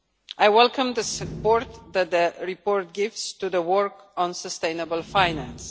I welcome the support that the report gives to the work on sustainable finance.